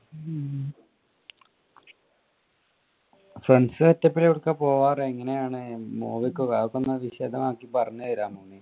friends setup ല് എവിടുക്കാ പോകാറ് എങ്ങനെയാണ് movie അതൊക്കെ ഒന്ന് വിശദമാക്കി പറഞ്ഞു തരാമോ.